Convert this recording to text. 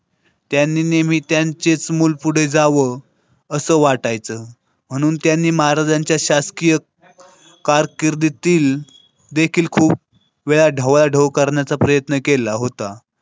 त्यांनी नेहमी त्यांचेच मुलं पुढे जाव असं वाटायचं म्हणून त्यांनी महाराजांच्या शासकीय कारकीर्दीतील देखील खूप वेळा ढवळाढवळ करण्याचा प्रयत्न केला होता.